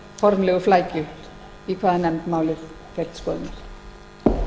formlegu flækju til hvaða nefndar málið fer til skoðunar